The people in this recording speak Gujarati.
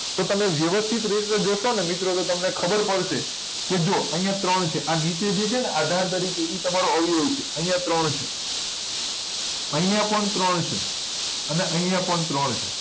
તો તમે વ્યવસ્થિત રીતે જોશો ને તમે તો મિત્રો તમને ખબર પડશે કે જુઓ અહિયાં ત્રણ છે આ નીચે જે છે ને આધાર પછી જે એ તમારો અવયવી છે અહિયાં ત્રણ છે અહિયાં પણ ત્રણ છે અને અહિયાં પણ ત્રણ છે